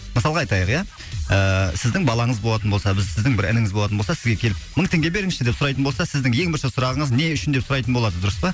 мысалға айтайық иә ііі сіздің балаңыз болатын болса бір сіздің бір ініңіз болатын болса сізге келіп мың теңге беріңізші деп сұрайтын болса сіздің ең бірінші сұрағыңыз не үшін деп сұрайтын болады дұрыс па